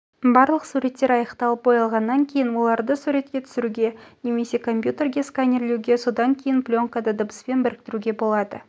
барлық суреттер аяқталып боялғаннан кейін оларды суретке түсіруге немесе компьютерге сканерлеуге содан кейін пленкада дыбыспен біріктіруге болады